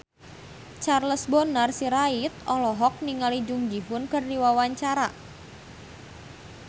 Charles Bonar Sirait olohok ningali Jung Ji Hoon keur diwawancara